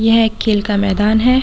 यह एक खेल का मैदान है।